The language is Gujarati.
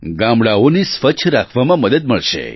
ગામડાંઓને સ્વચ્છ રાખવામાં મદદ મળશે